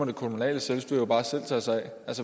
det kommunale selvstyre da bare selv tage sig af